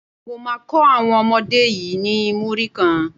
Mo má kó àwọn ọmọdé yí ni Múrí kan.